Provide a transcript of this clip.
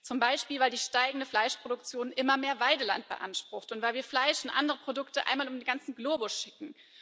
Zum Beispiel weil die steigende Fleischproduktion immer mehr Weideland beansprucht und weil wir Fleisch und andere Produkte einmal um den ganzen Globus schicken.